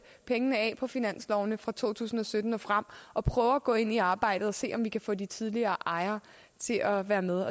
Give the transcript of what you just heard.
pengene af på finanslovene fra to tusind og sytten og frem og prøve at gå ind i arbejdet og se om vi kan få de tidligere ejere til at være med